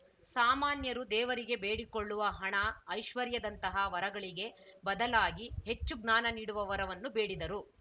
ಸಾಮಾನ್ಯರು ದೇವರಿಗೆ ಬೇಡಿಕೊಳ್ಳುವ ಹಣ ಐಶ್ವರ್ಯದಂತಹ ವರಗಳಿಗೆ ಬದಲಾಗಿ ಹೆಚ್ಚು ಜ್ಞಾನ ನೀಡುವ ವರವನ್ನು ಬೇಡಿದರು